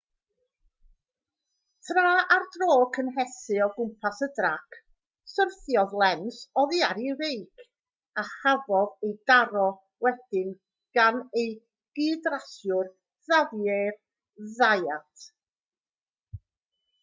tra ar dro cynhesu o gwmpas y trac syrthiodd lenz oddi ar ei feic a chafodd ei daro wedyn gan ei gydrasiwr xavier zayat